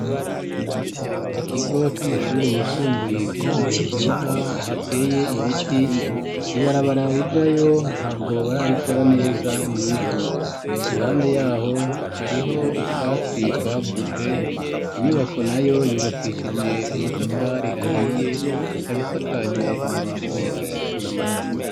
Ikigo c'amashure yisumbuye kiri ahantu heza hateye ibiti, ibarabara rijayo ntabwo bararikora neza ni ivu. Iruhande yaho hariho utwatsi twakuze, inyubako nayo yubakishije amatafari ahiye, ikaba isakaje amabati atukura.